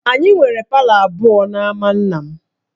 Anyị nwere palọ abụọ n'ámá nna m